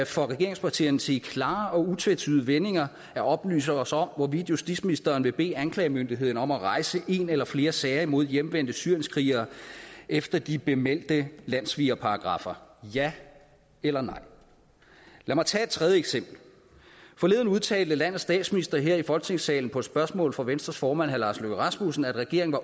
for regeringspartierne til i klare og utvetydige vendinger at oplyse os om hvorvidt justitsministeren vil bede anklagemyndigheden om at rejse en eller flere sager imod hjemvendte syrienskrigere efter de bemeldte landssvigerparagraffer ja eller nej lad mig tage et tredje eksempel forleden udtalte landets statsminister her i folketingssalen på et spørgsmål fra venstres formand herre lars løkke rasmussen at regeringen